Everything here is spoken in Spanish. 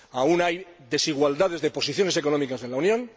Aún hay desigualdades en las posiciones económicas en la Unión.